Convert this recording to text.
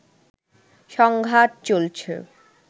সংঘাত চলছে